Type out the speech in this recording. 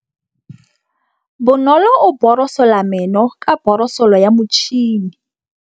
Bonolô o borosola meno ka borosolo ya motšhine.